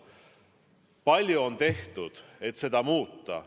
Palju on tehtud, et seda olukorda muuta.